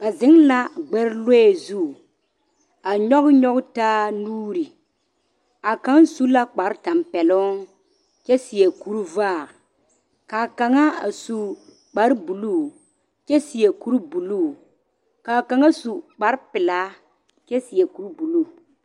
Ba zeŋ la gbɛre lɔɛ zu a nyɔge nyɔge taa nuuri a kaŋ su la kparetampɛloŋ kyɛ seɛ kurivaare ka a kaŋa su kparebuluu kyɛ seɛ kuribuluu ka a kaŋa su kparepelaa kyɛ seɛ kuribuluu.